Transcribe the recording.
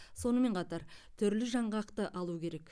сонымен қатар түрлі жаңғақты алу керек